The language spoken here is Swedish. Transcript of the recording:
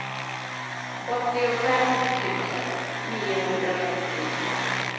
åttiofem tusen niohundrasjuttiofyra